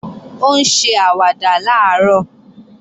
Ó ń ṣe àwàdà làárọ̀